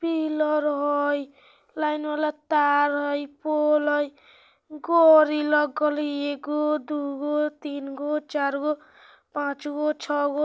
पिलर हय लाइन वला तार हय इ पोल हय गाड़ी लगल हय एगो दू गो तीन गो चार गो पांच गो छ गो।